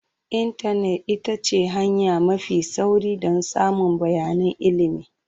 Intanet ita ce hanya mafi sauri don samun bayanan ilimi.